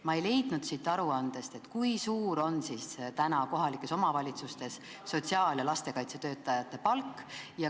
Ma ei leidnud siit aruandest, kui suur on kohalikes omavalitsustes sotsiaal- ja lastekaitsetöötajate palk.